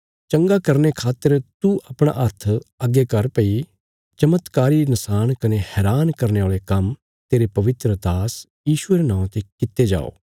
चंगा करने खातर तू अपणा हाथ अग्गे कर भई चमत्कारी नशाण कने हैरान करने औल़े काम्म तेरे पवित्र दास यीशुये रे नौआं ते कित्ते जाओ